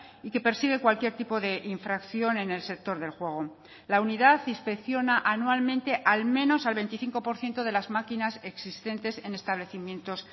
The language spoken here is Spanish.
y que persigue cualquier tipo de infracción en el sector del juego la unidad inspecciona anualmente al menos al veinticinco por ciento de las maquinas existentes en establecimientos